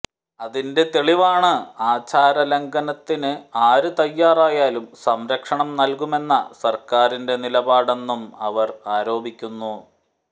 അതിന്റെ തെളിവാണ് ആചാരലംഘനത്തിന് ആര് തയ്യാറായാലും സംരക്ഷണം നല്കുമെന്ന സര്ക്കാരിന്റെ നിലപാടെന്നും അവര് ആരോപിക്കുന്നു